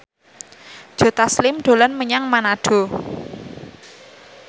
Joe Taslim dolan menyang Manado